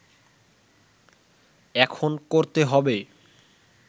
এখন করতে হবে